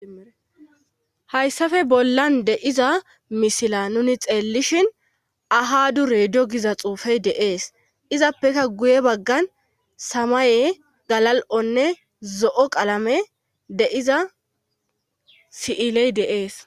Hayssafe bollan de'iza misila nuni xeellishin aha dure do giza xuufey deees izappeka guye baggan samaye galal7onne zo7o qalame deiza si'iley deees.